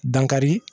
Dankari